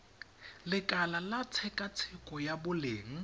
lekala la tshekatsheko ya boleng